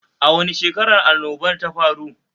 A wani shekarar annobar ta faru?